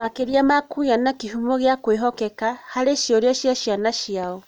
Makĩria ma kũgĩa na kĩhumo gĩa kwĩhokeka, makĩria arutani, harĩ ciũria cia ciana ciao.